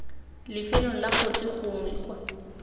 lifelong la kotsi gongwe kwa